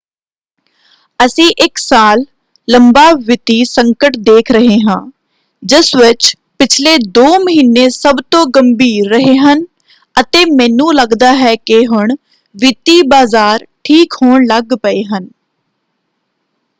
ਅਸੀਂ ਇੱਕ ਸਾਲ ਲੰਬਾ ਵਿੱਤੀ ਸੰਕਟ ਦੇਖ ਰਹੇ ਹਾਂ ਜਿਸ ਵਿੱਚ ਪਿਛਲੇ ਦੋ ਮਹੀਨੇ ਸਭ ਤੋਂ ਗੰਭੀਰ ਰਹੇ ਹਨ ਅਤੇ ਮੈਨੂੰ ਲੱਗਦਾ ਹੈ ਕਿ ਹੁਣ ਵਿੱਤੀ ਬਾਜ਼ਾਰ ਠੀਕ ਹੋਣ ਲੱਗ ਪਏ ਹਨ।